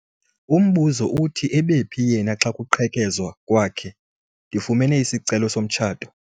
Umbuzo uthi ebephi yena xa kuqhekezwa kwakhe? ndifumene isicelo somtshato